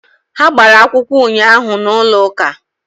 Ha gbara akwụkwọ ụnyaahụ n'ụlọ ụka